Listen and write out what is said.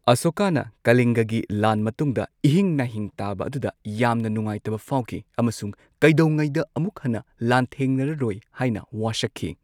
ꯑꯁꯣꯀꯥꯅ, ꯀꯂꯤꯡꯒꯒꯤ ꯂꯥꯟ ꯃꯇꯨꯡꯗ, ꯏꯍꯤꯡ ꯅꯥꯍꯤꯡ ꯇꯥꯕ ꯑꯗꯨꯗ ꯌꯥꯝꯅ ꯅꯨꯡꯉꯥꯏꯇꯕ ꯐꯥꯎꯈꯤ ꯑꯃꯁꯨꯡ ꯀꯩꯗꯧꯉꯩꯗ ꯑꯃꯨꯛ ꯍꯟꯅ ꯂꯥꯟꯊꯦꯡꯅꯔꯔꯣꯏ ꯍꯥꯏꯅ ꯋꯥꯁꯛꯈꯤ꯫